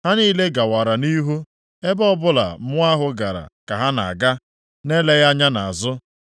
Ha niile gawara nʼihu. Ebe ọbụla mmụọ ahụ gara ka ha na-aga, na-eleghị anya nʼazụ.